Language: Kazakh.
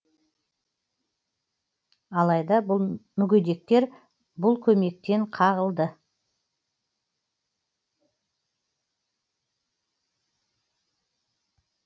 алайда мүгедектер бұл көмектен қағылды